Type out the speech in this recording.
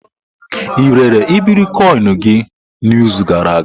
Ị rere iberikoinu gị n'izu gara aga?